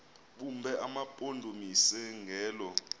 bume emampondomiseni ngelo